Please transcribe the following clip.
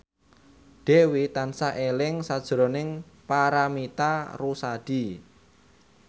Dewi tansah eling sakjroning Paramitha Rusady